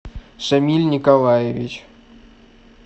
шамиль николаевич